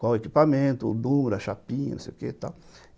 qual o equipamento, o, a chapinha, não sei o que e tal.